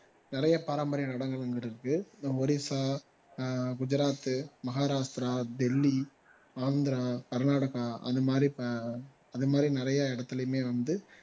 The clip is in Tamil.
நிறைய பாரம்பரிய இருக்கு ஒடிசா ஆஹ் குஜராத், மகாராஸ்டிரா, டெல்லி, ஆந்திரா, கர்நாடகா அந்த மாதிரி ஆஹ் அந்தமாதிரி நிறைய இடத்துலையுமே வந்து